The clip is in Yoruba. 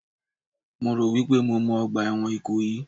Mo rò wípé mo mọ ọgbà ẹ̀wọ̀n Ìkòyí